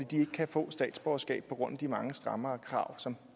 de ikke kan få statsborgerskab på grund af de mange strammere krav som